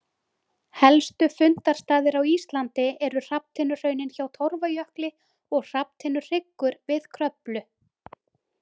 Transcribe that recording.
Helstu fundarstaðir á Íslandi eru hrafntinnuhraunin hjá Torfajökli og Hrafntinnuhryggur við Kröflu.